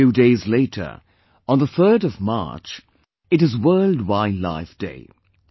A few days later, on the 3rd of March, it is 'World Wildlife Day'